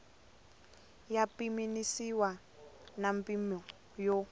ya pimanisiwa na mimpimo yo